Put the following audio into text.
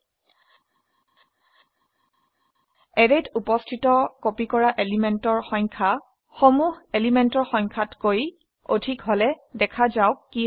অ্যাৰেত উপস্থিত কপি কৰা এলিমেন্টেৰ সংখ্যা সমুহ এলিমেন্টৰ সংখ্যাতকৈ অধিক হলে দেখা যাওক কি হয়